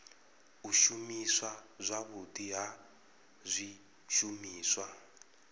u shumiswa zwavhudi ha zwishumiswa